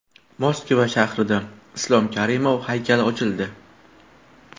Moskva shahrida Islom Karimov haykali ochildi.